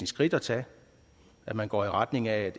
skridt at tage at man går i retning af